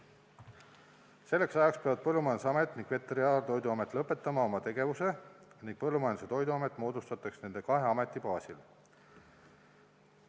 Selleks ajaks peavad Põllumajandusamet ning Veterinaar- ja Toiduamet lõpetama oma tegevuse, Põllumajandus- ja Toiduamet moodustatakse nende kahe ameti baasil.